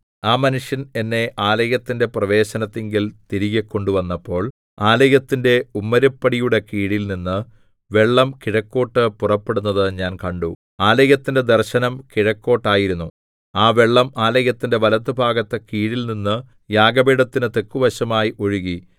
ആ മനുഷ്യന്‍ എന്നെ ആലയത്തിന്റെ പ്രവേശനത്തിങ്കൽ തിരികെ കൊണ്ടുവന്നപ്പോൾ ആലയത്തിന്റെ ഉമ്മരപ്പടിയുടെ കീഴിൽനിന്ന് വെള്ളം കിഴക്കോട്ടു പുറപ്പെടുന്നത് ഞാൻ കണ്ടു ആലയത്തിന്റെ ദർശനം കിഴക്കോട്ടായിരുന്നു ആ വെള്ളം ആലയത്തിന്റെ വലത്തുഭാഗത്ത് കീഴിൽനിന്ന് യാഗപീഠത്തിനു തെക്കുവശമായി ഒഴുകി